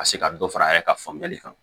Ka se ka dɔ fara a yɛrɛ ka faamuyali kan